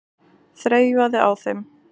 Þreifaði á þeim.